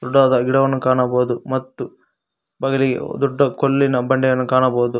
ದೊಡ್ಡದಾದ ಗಿಡವನ್ನು ಕಾಣಬಹುದು ಮತ್ತು ಬಗಲಿಗೆ ದೊಡ್ಡ ಕಲ್ಲಿನ ಬಂಡೆಯನ್ನು ಕಾಣಬಹುದು.